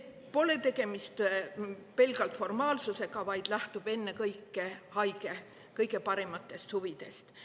Pole tegemist pelgalt formaalsusega, vaid see lähtub ennekõike haige kõige parimatest huvidest.